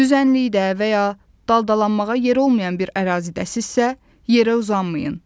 Düzənlikdə və ya daldalanmağa yer olmayan bir ərazidəsinizsə, yerə uzanmayın.